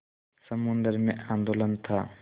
समुद्र में आंदोलन था